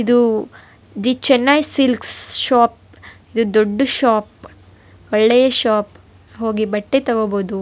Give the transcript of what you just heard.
ಇದು the Chennai silks shop ಇದು ದೊಡ್ಡ್ ಶೋಪ್ ಒಳ್ಳೆಯ ಶೋಪ್ ಹೋಗಿ ಬಟ್ಟೆ ತಗೊಬಹುದು.